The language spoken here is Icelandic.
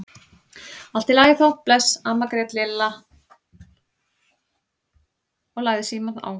Allt í lagi þá, bless amma grét Lilla og lagði símann á.